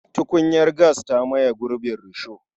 Tukunyar gas ta maye gurbin risho.